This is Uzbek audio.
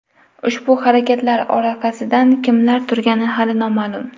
Ushbu harakatlar orqasida kimlar turgani hali noma’lum.